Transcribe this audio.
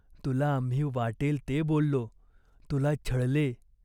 तुला आम्ही वाटेल ते बोललो. तुला छळले.